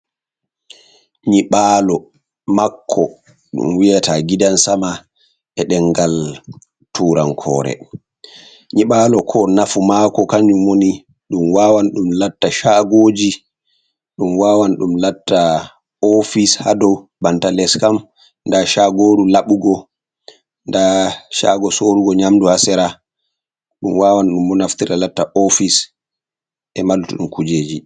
Nyibalo makko ɗum wiyata gidan sama e ɗengal turankore, nyibalo ko nafu mako kanjum woni ɗum wawan ɗum latta shagoji, ɗum wawan ɗum latta ofis hado, banta les kam nda shagoru laɓugo, nda shago sorugo nyamdu, hasera ɗum wawan ɗum naftira latta ofis e ma luttuɗum kujeji.